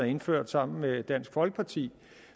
indført sammen med dansk folkeparti